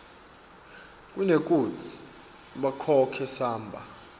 kunekutsi bakhokhe samba